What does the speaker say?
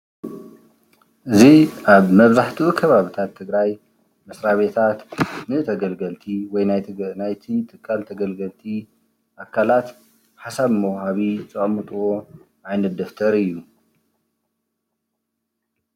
እዚ ኣብ መብዛሕቱ ከባብታት ትግራይ መስራቤታት ንተገልገልቲ ወይ ናይቲ ትካል ተገልገልቲ ኣካላት ሓሳብ መዉሃቢ ዘቀምጥዎ ዓይነት ደብተር እዩ ።